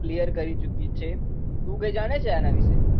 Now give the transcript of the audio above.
Clear કરી ચુકી છે. તુ કઈ જાણે છે આના વિશે?